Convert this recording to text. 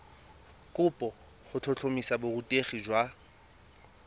kopo go tlhotlhomisa borutegi jwa